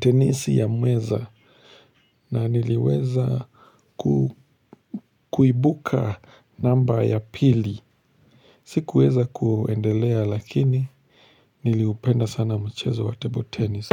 tenisi ya meza, na niliweza kuibuka namba ya pili, sikuweza kuendelea lakini niliupenda sana mchezo wa table tennis.